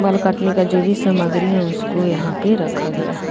बाल काटने का जो भी सामग्री है उसको यहां पे रखा गया है।